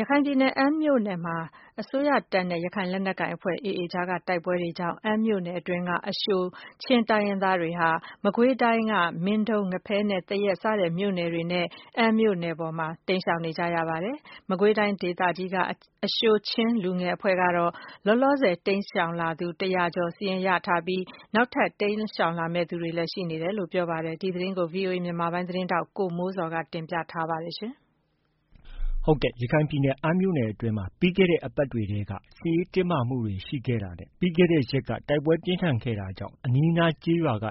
ရခိုင်ပြည်နယ် ၊ အမ်းမြို့နယ်အတွင်းမှာ တပ်မတော်နဲ့ ရခိုင်လက်နက်ကိုင်အဖွဲ့ AA အကြားမှာ ဖြစ်ပွားတဲ့ တိုက်ပွဲတွေကြောင့် အမ်းမြို့နယ်အတွင်းက အရှိုချင်းလူမျိုးတွေဟာ မကွေးတိုင်း ၊မင်းတုံး၊ ငဖဲနဲ့ သရက်စတဲ့မြို့နယ်တွေနဲ့ အမ်းမြို့ ပေါ်ကို တိမ်းရှောင်နေကြပါတယ်။ မကွေးတိုင်းဒေသကြီးက အရှိုချင်းလူငယ်အဖွဲ့ကတော့ လောလောဆည် တိမ်းရှောင်လာသူ ၁၀၀ကျော်စာရင်းကို ရရှိထားပြီး နောက်ထပ် ထပ်မံတိမ်းရှောင်လာမယ့် သူတွေလည်း ရှိနေကြောင်း ပြောပါတယ်။ ဒီသတင်းကိုတော့ ဗွီအိုအေမြန်မာပိုင်းရဲ့သတင်းထောက် ကိုမိုးဇော်က တင်ပြထားပါတယ်။ ရခိုင်ပြည်နယ် အမ်းမြို့နယ်အတွင်းမှာ ပြီးခဲ့တဲ့ အပတ်တွေထဲက စစ်ရေးတင်းမာမှုတွေရှိခဲ့တာနဲ့ ပြီးခဲ့တဲ့ရက်က တိုက်ပွဲပြင်းထန်ခဲ့တာကြောင့် အနီးအနားကျေးရွာက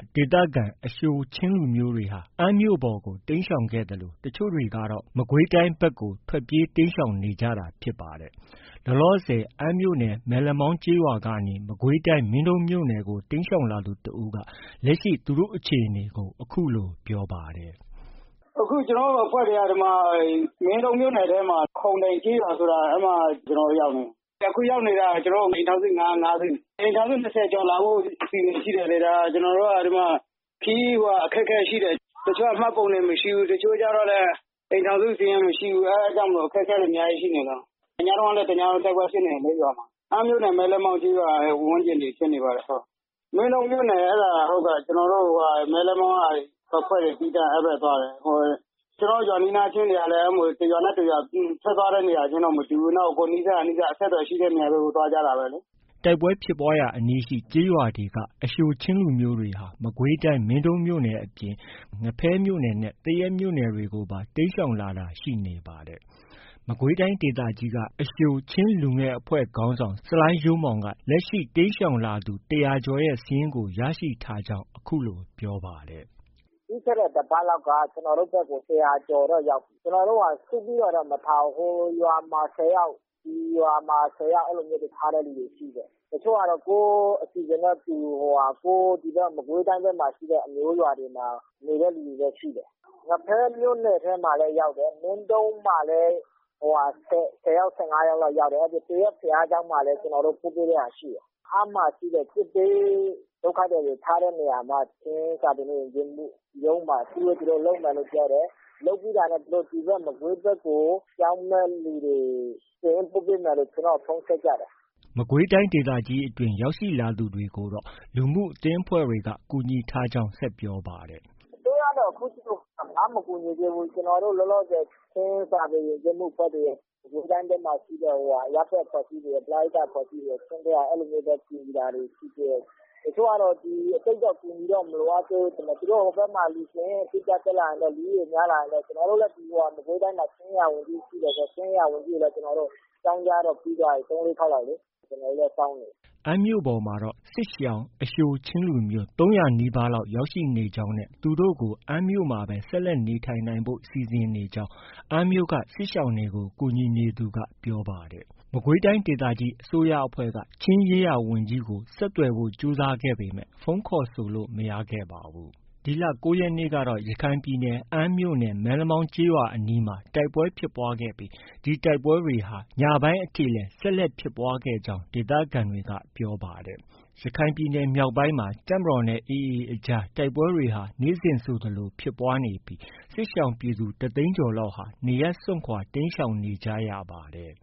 အရှိုချင်း ဒေသခံတွေဟာ အမ်းမြို့ပေါ်ကို တိမ်းရှောင်ခဲ့သလို တချို့တွေကတော့ မကွေးတိုင်း အတွင်းကို ထွက်ပြေးတိမ်းရှောင်နေကြတာဖြစ်ပါတယ်။ လောလောဆည် အမ်းမြို့နယ် မဲလက်မောင်းကျေးရွာကနေ မကွေးတိုင်း မင်းတုန်းမြို့နယ်ကို တိမ်းရှောင်လာသူ တစ်ဦးက လက်ရှိ သူတို့အခြေအနေကို အခုလို ပြောပါတယ်။ “ အခု ကျနော်တို့ အဖွဲ့တွေက မင်းတုန်းမြို့နယ် ခုံတိုင်ကျေးရွာ အဲဒီမှာ ကျနော်တို့ ရောက်နေတာ။ အခုရောက်နေတာ ကျနော်တို့ အိမ်ထောင်စု ၅စု၊ အိမ်ထောင်စု ၂၀ကျော် လာဖို့ အစီအစဉ်ရှိတယ်လေ။ အဲဒီမှာ ကျနော်တို့က ခရီးအခက်အခဲရှိတယ်။ တချို့က မှတ်ပုံတင်မရှိဘူး။ တချို့ကျတော့လည်း အိမ်ထောင်စု စာရင်း မရှိဘူး။ အဲဒါကြောင့် အခက်အခဲတွေ အများကြီးရှိနေလို့ ။ ညတုန်းကလည်း တစ်ညလုံးတိုက်ပွဲဖြစ်နေတယ်လေ ရွာမှာ။ အမ်းမြို့နယ် မဲလက်မောင်းကျေးရွာဝန်းကျင်တွေဖြစ်နေပါတယ်။ မင်းတုန်းမြို့နယ် အဲဒါ ကျနော်တို့ မဲလက်မောင်းကအဖွဲ့တွေ သီးသန့်သွားတယ်။ ကျနော်တို့ ရွာနီးနားချင်းတွေကလည်း တစ်ရွာနဲ့ တစ်ရွာ ထွက်သွားတဲ့သူတွေက မတူဘူး။ ကိုယ်နီးစပ်ရာ နီးစပ်ရာ အဆက်အသွယ်ရှိတဲ့နေရာတွေကို သွားကြတာပဲလေ။” တိုက်ပွဲဖြစ်ပွားရာအနီးရှိ ကျေးရွာတွေက အရှိုချင်းလူမျိုးတွေဟာ မကွေးတိုင်း မင်းတုန်းမြို့နယ်အပြင် ငဖဲမြို့နယ်နဲ့ သရက်မြို့နယ်တွေကို တိမ်းရှောင်တာရှိနေပါတယ်။ မကွေးတိုင်း ဒေသကြီးက အရှိုချင်းလူငယ်အဖွဲ့ခေါင်းဆောင် ဆလိုင်းရိုးမောင်က လက်ရှိ တိမ်းရှောင်လာသူ ၁၀၀ကျော်ရဲ့ စာရင်းကို ရရှိထားကြောင်း အခုလို ပြောပါတယ်။ “ ပြီးခဲ့တဲ့ တစ်ပတ်လောက်က ကျနော်တို့ ဘက်ကို ၁၀၀ကျော်တော့ ရောက်ပြီ။ ကျနော်တို့က စုပြီးတော့ မထားဘူး။ ဟိုရွာမှာ ၁၀ယောက်၊ ဒီရွာမှာ ၁၀ယောက် အဲလိုမျိုးတွေ ထားတဲ့လူတွေ ရှိတယ်။ တချို့ကတော့ ကိုယ့်အစီအစဉ်နဲ့ကိုယ် ဒီဘက် မကွေးတိုင်းဘက်မှာ အမျိုးရွာတွေမှာ နေတဲ့လူတွေလည်း ရှိတယ်။ ငဖဲမြို့နယ်ထဲလည်း ရောက်တယ်။ မင်းတုန်းမှာလည်း ၁၀ယောက်၊ ၁၅ယောက်လောက်ရှိတယ်။ သရက်ဘုရားကျောင်းမှာလည်း ကျနော်တို့ ပို့ပေးတဲ့ဟာ ရှိတယ်။ အမ်းမှာရှိတဲ့ စစ်ဘေးဒုက္ခသည်တွေ ထားတဲ့နေရာမှာ ချင်းစာပေနဲ့ ယဉ်ကျေးမှုရုံးမှာ အစည်းအဝေး သူတို့ လုပ်မယ်လို့ ပြောတယ်။ လုပ်ပြီးတာနဲ့ သူတို့ ဒီဘက် မကွေးဘက်ကို ပြောင်းမယ့်သူတွေ စာရင်း ပို့ပေးမယ်လို့ သူတို့ ကျနော့်ကို ဖုန်း ဆက်ကြတယ်။” မကွေးတိုင်းအတွင်း ရောက်လာသူတွေကိုတော့ လူမှုအသင်းအဖွဲ့တွေက ကူညီထားကြောင်း ဆက်ပြောပါတယ်။ “ အစိုးရကတော့ ခုထိကို ဘာမှ မကူညီသေးဘူး။ ကျနော်တို့ လောလောဆည် ချင်းစာပေ၊ ယဉ်ကျေးမှုအဖွဲ့တွေ၊ မကွေးတိုင်းအတွင်းမှာရှိတဲ့ အရပ်ဘက် အဖွဲ့အစည်းတွေရယ်၊ ပရဟိတ အဖွဲ့အစည်းတွေရယ် အဲလိုမျိုးပဲ ကူညီတာတွေ ရှိသေးတယ်။ တချို့ကတော့ သိပ်တော့ အကူအညီတော့ မလိုအပ်သေးဘူးထင်တယ်။ သူတို့ ဟိုဘက်မှာ လူစာရင်း တက်လာရင်တော့ လူဦးရေ အတိအကျ ရရင်တော့ ကျနော်တို့လည်း မကွေးတိုင်းမှာ ချင်းရေးရာဝန်ကြီးရှိတယ်ဆိုတော့ ချင်းရေးရာဝန်ကြီးကိုလည်း အကြောင်း ကြားတော့ ပြီးသွားပြီ။ ၃- ၄ ခေါက်လောက်လေ။ ကျနော်တို့လည်း စောင့်နေတယ်။” အမ်းမြို့ပေါ်မှာတော့ စစ်ရှောင် အရှိုချင်းလူမျိုး ၃၀၀နီးပါးလောက်ရောက်ရှိနေကြောင်း၊ သူတို့ကို အမ်းမှာပဲ နေထိုင်နိုင်ဖို့ စီစဉ်နေကြောင်း အမ်းမြို့က စစ်ရှောင်တွေကို ကူညီနေသူက ပြောပါတယ်။ မကွေးတိုင်းဒေသကြီးအစိုးရအဖွဲ့က ချင်းရေးရာဝန်ကြီးကို ဆက်သွယ်ဖို့ ကြိုးစားခဲ့ပေမဲ့ ဖုန်းခေါ်ဆိုလို့ မရခဲ့ပါဘူး။ ဒီလ ၉ရက်နေ့ကတော့ ရခိုင်ပြည်နယ် အမ်းမြို့နယ် မဲလမောင်းကျေးရွာအနီးမှာ တိုက်ပွဲဖြစ်ပွားခဲ့ပြီး ဒီတိုက်ပွဲတွေဟာ ညပိုင်းအထိလည်း ဆက်လက်ဖြစ်ခဲ့ကြောင်း ဒေသခံတွေက ပြောပါတယ်။ ရခိုင်ပြည်နယ်မြောက်ပိုင်းမှာ တပ်မတော်နဲ့ AA အကြား တိုက်ပွဲတွေဟာ နေ့စဉ်ဆိုသလို ဖြစ်ပွားနေပြီး စစ်ရှောင်ပြည်သူ တစ်သိန်းကျော်လောက်ဟာ နေရပ်စွန့်ခွာ တိမ်းရှောင်နေကြရပါတယ်။